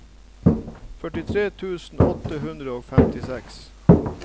førtitre tusen åtte hundre og femtiseks